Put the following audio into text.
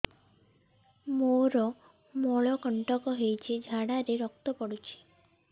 ମୋରୋ ମଳକଣ୍ଟକ ହେଇଚି ଝାଡ଼ାରେ ରକ୍ତ ପଡୁଛି